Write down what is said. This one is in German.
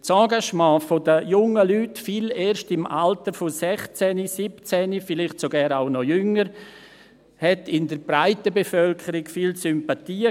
Das Engagement der jungen Leuten, viele erst im Alter von 16 oder 17 Jahren, vielleicht sogar auch noch jünger, fand in der breiten Bevölkerung viele Sympathien.